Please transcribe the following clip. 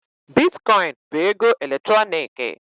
Bitkọịn bụ ego eletrọnịkị.